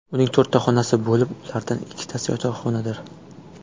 Uning to‘rtta xonasi bo‘lib, ulardan ikkitasi yotoqxonadir.